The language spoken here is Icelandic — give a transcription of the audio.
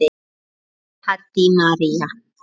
Þín, Haddý María.